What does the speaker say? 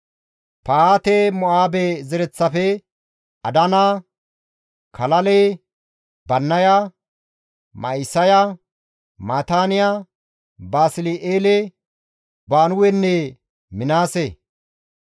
Pahaate-Mo7aabe zereththafe, Adana, Kalale, Bannaya, Ma7isaya, Maataaniya, Basli7eele, Binuwenne Minaase;